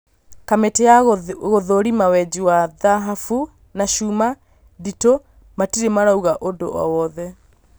Kamĩtĩ ya gũthũrima wenji wa thahabu na chuma nditũ matirĩ marauga ũndũ owothe